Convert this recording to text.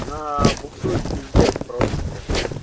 она буксует пиздец просто блин